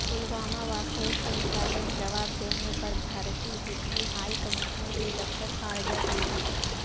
پلواما واقعے سے متعلق جواب دینے پر بھارتی ڈپٹی ہائی کمشنر کی دفتر خارجہ طلبی